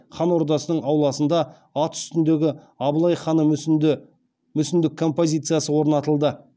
хан ордасының ауласында ат үстіндегі абылай хан мүсіндік композициясы орнатылды